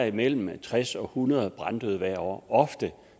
imellem tres og hundrede branddøde hvert år og ofte